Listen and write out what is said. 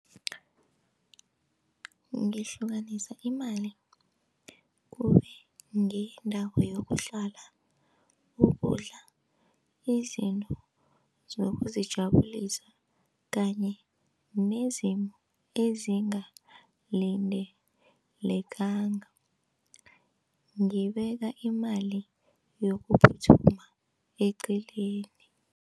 Ngihlukanisa imali kube ngeyendawo yokuhlala, ukudla, izinto zokuzijabulisa kanye nezinye ezingalindelekanga, ngibeka imali yokuphuthuma eceleni.